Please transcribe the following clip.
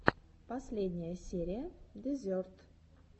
последняя серия дезерт